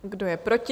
Kdo je proti?